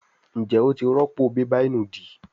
Njé wón tí rọpo bébà ìnùdí?